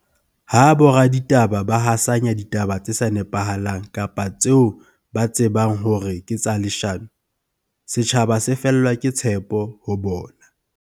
Ha boraditaba ba hasanya ditaba tse sa nepahalang kapa tseo ba tsebang hore ke tsa leshano, setjhaba se fellwa ke tshepo ho bona.